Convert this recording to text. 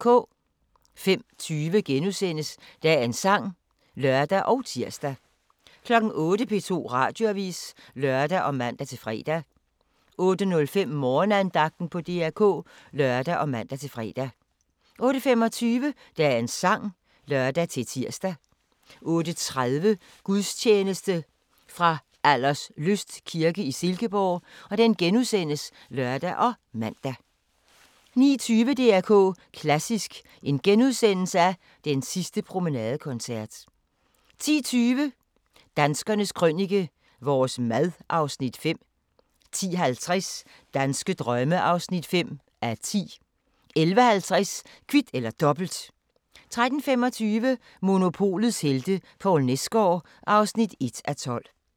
05:20: Dagens sang *(lør og tir) 08:00: P2 Radioavis (lør og man-fre) 08:05: Morgenandagten på DR K (lør og man-fre) 08:25: Dagens sang (lør-tir) 08:30: Gudstjeneste fra Alderslyst kirke i Silkeborg *(lør og man) 09:20: DR K Klassisk: Den sidste promenadekoncert * 10:20: Danskernes Krønike - vores mad (Afs. 5) 10:50: Danske drømme (5:10) 11:50: Kvit eller Dobbelt 13:25: Monopolets helte - Poul Nesgaard (1:12)